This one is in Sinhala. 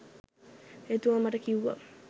එතුමා මට කිව්වා